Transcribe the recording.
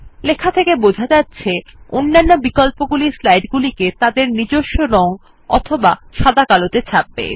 লেখা থেকে বোঝা যাচ্ছে অন্যান্য বিকল্পগুলি স্লাইড গুলিকে তাদের নিজস্ব রং অথবা সাদা কালো ত়ে ছাপবে